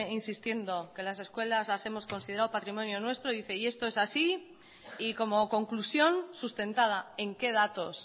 insistiendo que las escuelas las hemos considerado patrimonio nuestro y dice y esto es así y como conclusión sustentada en qué datos